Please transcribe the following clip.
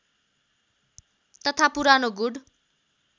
तथा पुरानो गुड